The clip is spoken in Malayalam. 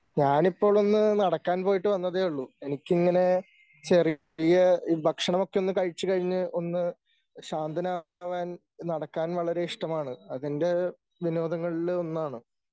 ഞാനിപ്പോഴൊന്ന് നടക്കാൻ പോയിട്ട് വന്നതേയുള്ളൂ. എനിക്കിങ്ങനെ ചെറിയ ഭക്ഷണമൊക്കെ ഒന്ന് കഴിച്ചു കഴിഞ്ഞ് ഒന്ന് ശാന്തനാവാൻ നടക്കാൻ വളരെ ഇഷ്ടമാണ്. അതെൻ്റെ വിനോദങ്ങളിലൊന്നാണ്.